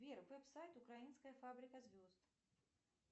сбер веб сайт украинской фабрикой звезд